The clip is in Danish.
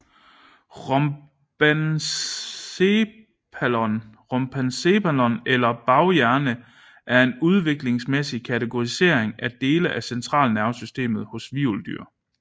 Rhombencephalon eller baghjernen er en udviklingsmæssig kategorising af dele af centralnervesystemet hos hvirveldyr